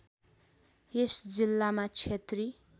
यस जिल्लामा क्षेत्री